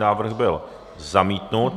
Návrh byl zamítnut.